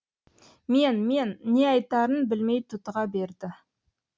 мен мен не айтарын білмей тұтыға берді